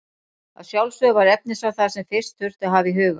Að sjálfsögðu var efnisval það sem fyrst þurfti að hafa í huga.